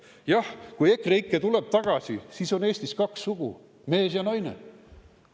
Jah, kui EKREIKE tuleb tagasi, siis on Eestis kaks sugu: mees ja naine.